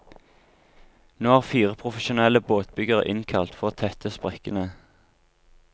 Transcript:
Nå er fire profesjonelle båtbyggere innkalt for å tette sprekkene.